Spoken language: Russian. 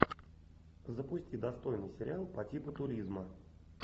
запусти достойный сериал по типу туризма